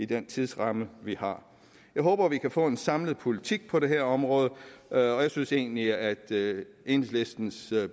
den tidsramme vi har jeg håber vi kan få en samlet politik på det her område og jeg synes egentlig at enhedslistens